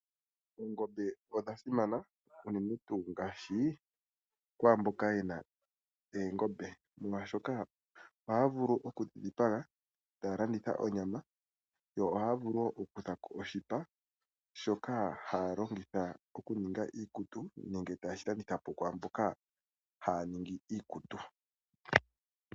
Oongombe odha simana unene tuu kwaamboka yedhina molwaashoka ohaya vulu okudhi dhipaga taya kutha koo oonyama noshowo oku kuthako oshipa ta yeshi landitha po kwaamboka haya ningi oonguwo.